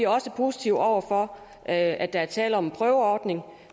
også positive over for at der er tale om en prøveordning